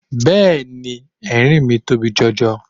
Bẹ́ẹ̀ni, erinmi tóbi jọ jọ.